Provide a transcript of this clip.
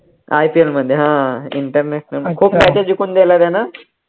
IPL मध्ये हा international खूप matches जिकून दिल्या त्यानं